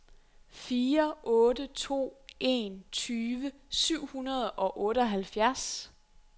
fire otte to en tyve syv hundrede og otteoghalvfjerds